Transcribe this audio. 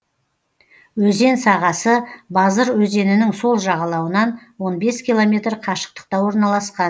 өзен сағасы базыр өзенінің сол жағалауынан он бес километр қашықтықта орналасқан